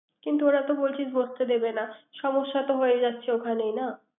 কিন্ত ওরা তো বলছে বসতে দেবে না। সমস্যাতো হয়ে যাচ্ছে ওখানেই না।